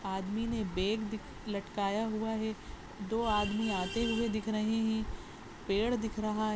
आदमी ने बैग दिक- लटकाया हुआ है दो आदमी आते हुए दिख रहे हैं पेड़ दिख रहा --